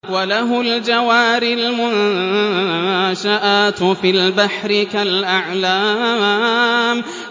وَلَهُ الْجَوَارِ الْمُنشَآتُ فِي الْبَحْرِ كَالْأَعْلَامِ